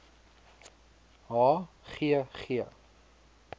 h g g